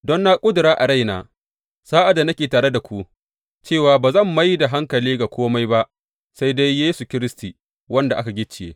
Don na ƙudura a raina sa’ad da nake tare da ku cewa ba zan mai da hankali ga kome ba sai dai Yesu Kiristi wanda aka gicciye.